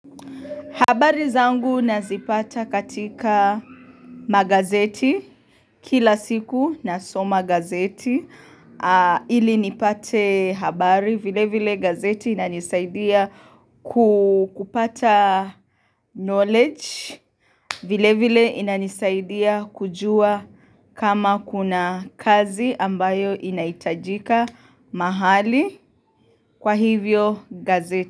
Habari zangu nazipata katika magazeti kila siku na soma gazeti ili nipate habari vile vile gazeti inanisaidia kupata knowledge vile vile inanisaidia kujua kama kuna kazi ambayo inaitajika mahali kwa hivyo gazeti.